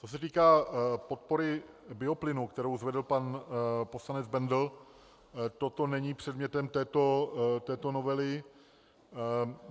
Co se týká podpory bioplynu, kterou zvedl pan poslanec Bendl, toto není předmětem této novely.